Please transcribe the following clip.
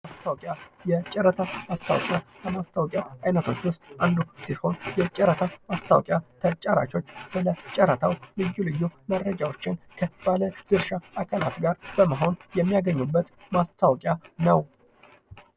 ማስታወቂያ የጨረታ ማስታወቂያ ከማስታወቂያ አይነቶች ውስጥ አንዱ ሲሆን የጨረታ ማስታአወቂያ ተጫራቾች ስለጫራታው ልዩ ልዩ መረጃዎችን ከባለ ድርሻ አካላት ጋር በመሆን የሚያገኙበት ማስታወቂያ ነው።